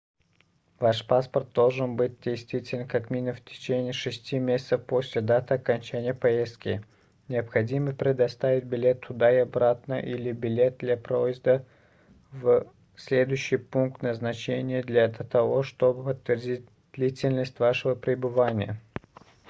ваш паспорт должен быть действителен как минимум в течение 6 месяцев после даты окончания поездки необходимо предоставить билет туда-обратно или билет для проезда в следующий пункт назначения для того чтобы подтвердить длительность вашего пребывания